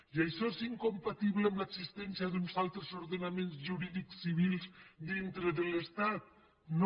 i això és incompatible amb l’existència d’uns altres ordenaments jurídics civils dintre de l’estat no